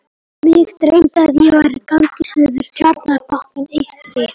Mig dreymdi, að ég væri á gangi suður Tjarnarbakkann eystri.